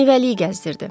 Meyvəliyi gəzdirdi.